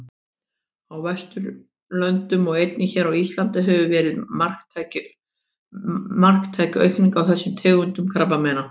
Á Vesturlöndum og einnig hér á Íslandi hefur verið marktæk aukning á þessum tegundum krabbameina.